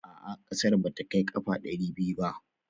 A'a ƙasar ba ta kai ƙafa ɗari biyu ba